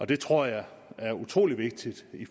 det tror jeg er utrolig vigtigt